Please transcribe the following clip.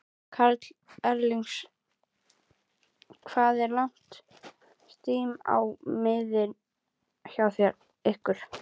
Karl Eskil: Hvað er langt stím á miðin hjá ykkur?